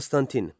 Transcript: Konstantin.